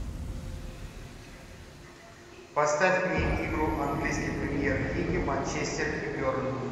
поставь мне игру английской премьер лиги манчестер и бернли